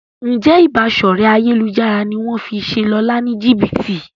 Njé Ìbáṣọ̀rẹ́ ayélujára ní wón fí ṣe Lọla ní jibiti?